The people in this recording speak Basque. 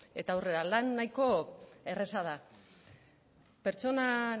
eta aurrera lan nahiko erreza da pertsona